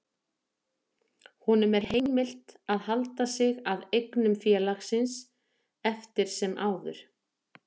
Honum er heimilt að halda sig að eignum félagsins eftir sem áður.